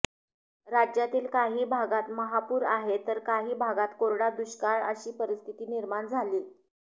राज्यातील काही भागात महापूर आहे तर काही भागात कोरडा दुष्काळ अशी परिस्थिती निर्माण झालीय